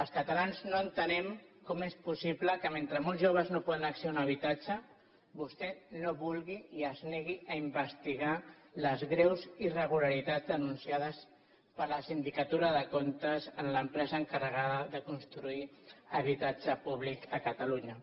els catalans no entenem com és possible que mentre molts joves no poden accedir a un habitatge vostè no vulgui i es negui a investigar les greus irregularitats denunciades per la sindicatura de comptes en l’empresa encarregada de construir habitatge públic a catalunya